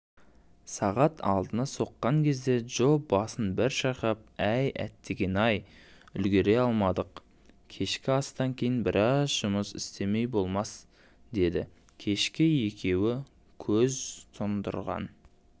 сағат алтыны соққан кезде джо басын бір шайқап әй әттеген-ай үлгере алмадық кешкі астан кейін біраз жұмыс істемей болмас дедікешкі екеуі көз тұндырған